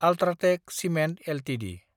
UltraTech cement Ltd